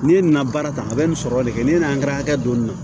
N'i ye nin na baara tan a bɛ nin sɔrɔ de kɛ ni hakɛ don nin na